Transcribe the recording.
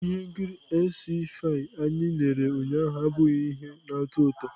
Ihe nkiri sc-fi anyị lere ụnyaahụ abụghị ihe na-atọ ụtọ.